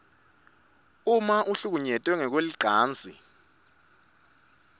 uma uhlukunyetwe ngekwelicansi